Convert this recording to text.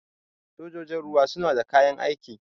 Sojajin ruwa suna da kayan aiki.